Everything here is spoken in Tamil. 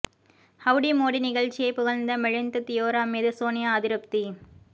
ஹவ்டி மோடி நிகழ்ச்சியை புகழ்ந்த மிலிந்த் தியோரா மீது சோனியா அதிருப்தி